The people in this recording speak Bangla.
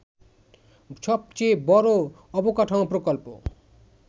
সবচেয়ে বড় অবকাঠামো প্রকল্প